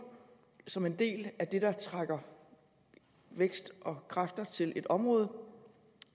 som en del af det der trækker vækst og kræfter til et område